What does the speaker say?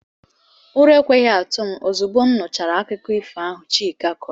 ura ekwehi atu m ozugbo nuchara akuko ifo ahu chike koro